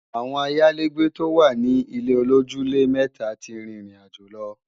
Àwọn ayálégbé tó wà ní ilé-olójúlé-mẹta ti rìn ìrìnàjò lọ